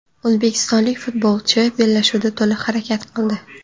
O‘zbekistonlik futbolchi bellashuvda to‘liq harakat qildi.